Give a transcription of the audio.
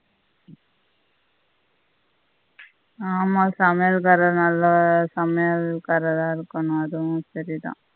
ஆஹ் ஆமா சமையல்காரர் நல்ல சமையல்காரரா இருக்கணும் அதுவும் சரிதான்